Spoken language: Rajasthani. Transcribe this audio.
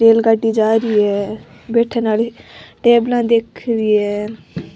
रेल गाड़ी जा रही है बैठने आली टेबला दिख रही है।